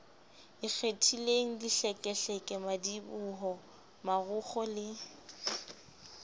ikgethileng dihlekehleke madiboho marokgo le